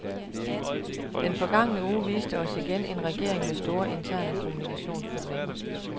Den forgangne uge viste os igen en regering med store, interne kommunikationsproblemer.